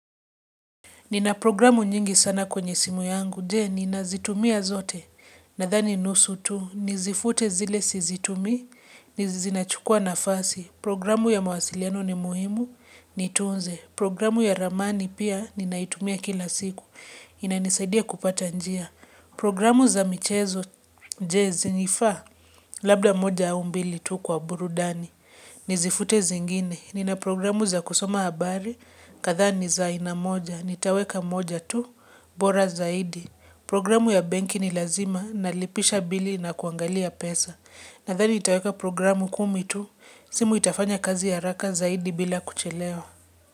Nina programu nyingi sana kwenye simu yangu. Je, ninazitumia zote. Nathani nusu tu. Nizifute zile sizitumii hizi zinachukua nafasi. Programu ya mawasiliano ni muhimu. Nitunze. Programu ya ramani pia ninaitumia kila siku. Inanisadia kupata njia. Programu za michezo Je, zinifaa. Labda moja au mbili tu kwa burudani. Nizifute zingine. Nina programu za kusoma habari kathaa ni za aina moja. Nitaweka moja tu, bora zaidi Programu ya benki ni lazima Nalipisha bili na kuangalia pesa Nathani nitaweka programu kumi tu simu itafanya kazi haraka zaidi bila kuchelewa.